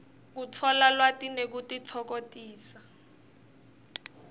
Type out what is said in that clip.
kutfola lwati nekutitfokotisa